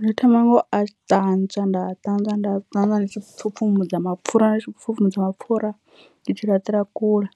Ndi thoma ngo a ṱanzwa nda ṱanzwa nda ṱanzwa ndi tshi pfhupfhumudza mapfura ndi tshi pfhupfhumbudza mapfhura ndi tshi laṱela kule,